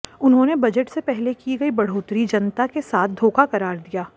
उन्होंने बजट से पहले की गई बढ़ोतरी जनता के साथ धोखा करार दिया